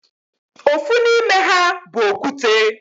Ofu n'ime ha bu okwute.